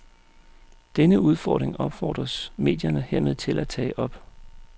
Denne udfordring opfordres medierne hermed til at tage op.